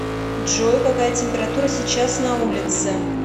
джой какая температура сейчас на улице